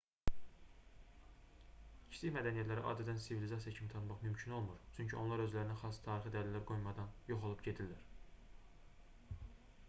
kiçik mədəniyyətləri adətən sivilizasiya kimi tanımaq mümkün olmur çünki onlar özlərinə xas tarixi dəlillər qoymadan yox olub gedirlər